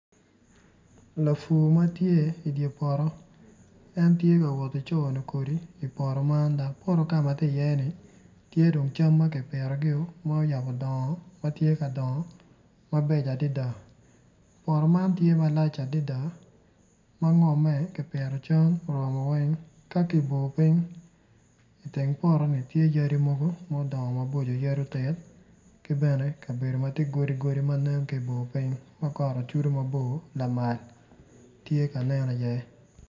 Lafur ma tye i di poto en tye ka woti coyo kodi i poto man dok poto ka ma ti iye-ni tye dong cam ma kipitogio ma oyabo dongo ma tye ka dongo mabeco adida poto man tye malac adida ma ngomme ki pito cam oromo weny iteng poto-ni tye yadi mogo mudongo maboco yadi otit ki bene kabedo ma tye godi godi ma nen ki i bor piny ma got ocudu mabor lamal tye ka nen iye